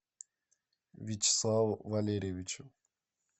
вячеславу валерьевичу